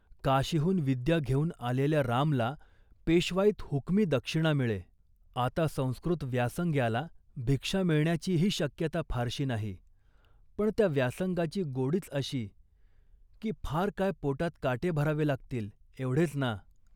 काशीहून विद्या घेऊन आलेल्या रामला पेशवाईत हुकमी दक्षिणा मिळे. आता संस्कृत व्यासंग्याला भिक्षा मिळण्याचीही शक्यता फारशी नाही, पण त्या व्यासंगाची गोडीच अशी की 'फार काय, पोटात काटे भरावे लागतील एवढेच ना